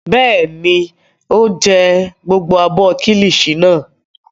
Bẹ́ẹ̀ ni, ó jẹ gbogbo abọ́ kíllìṣi náà.